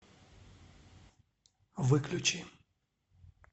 выключи